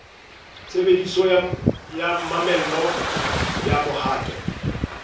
tshebediso ya mamello ya mohato